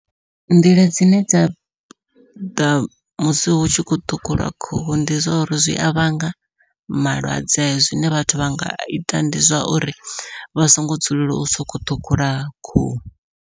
Nḓila dzine dza ḓa musi hutshi khou ṱhukhulwa khuhu ndi zwa uri zwi a vhanga malwadze zwine vhathu vha nga ita ndi zwauri vha songo dzulela u sokou ṱhukhula khuhu.